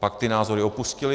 Pak ty názory opustili.